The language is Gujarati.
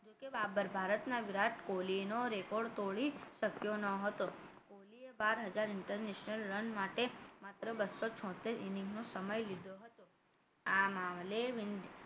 જોકે બાબર ભારતના વિરાટ કોહલી નો record તોડી શક્યો ન હતો કોહલીએ બાર હજાર inter national રન માટે માત્ર બસો છોતેર inning નો સમય લીધો હતો આ મામલે